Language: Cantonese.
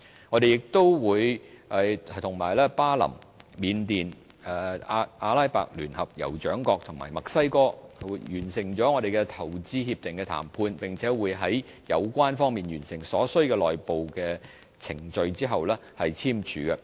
我們亦與巴林、緬甸、阿拉伯聯合酋長國及墨西哥完成了投資協定談判，並會在有關方面完成所需的內部程序後簽署投資協定。